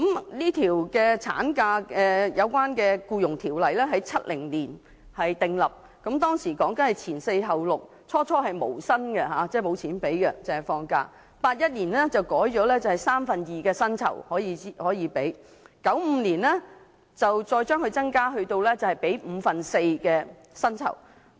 《僱傭條例》內有關產假的規定在1970年訂立，當時規定"前四後六"，最初是無薪的，到了1981年更改為支取三分之二薪酬 ，1995 年再增加至五分之四薪酬。